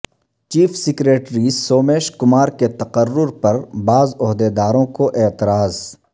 chief secretary Somesh Kumar کے تقرر پر بعض عہدیداروں کو اعتراض